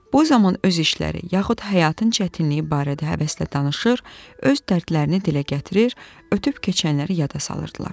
Bu zaman öz işləri yaxud həyatın çətinliyi barədə həvəslə danışır, öz dərdlərini dilə gətirir, ötüb keçənləri yada salırdılar.